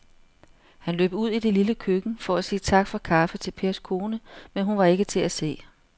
Han løb ud i det lille køkken for at sige tak for kaffe til Pers kone, men hun var ikke til at se.